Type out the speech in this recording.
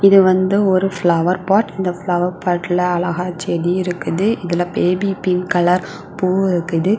இது வந்து ஒரு ஃப்ளவர் பாட் இந்த ஃப்ளவர் பாட்ல அழகா செடி இருக்குது. இதுல பேபி பிங்க் கலர் பூ இருக்குது.